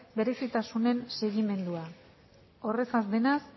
berezitasunen segimendua horrezaz denaz